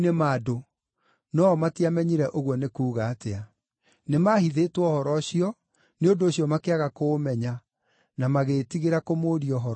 No-o matiamenyire ũguo nĩ kuuga atĩa. Nĩmahithĩtwo ũhoro ũcio, nĩ ũndũ ũcio makĩaga kũũmenya, na magĩĩtigĩra kũmũũria ũhoro ũcio.